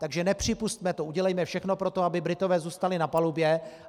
Takže nepřipusťme to, udělejme všechno pro to, aby Britové zůstali na palubě.